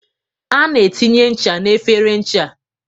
A na etinye ncha n'efere ncha.